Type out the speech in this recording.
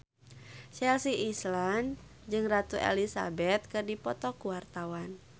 Chelsea Islan jeung Ratu Elizabeth keur dipoto ku wartawan